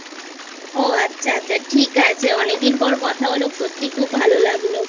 ও আচ্ছা আচ্ছা ঠিক আছে অনেকদিন পর কথা হলো সত্যিই খুব ভালো লাগলো